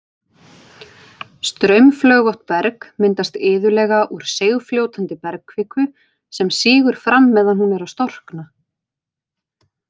Straumflögótt berg myndast iðulega úr seigfljótandi bergkviku sem sígur fram meðan hún er að storkna.